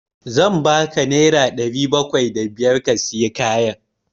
Zan ba ka naira ɗari bakwai da biyar ka sayi kayan.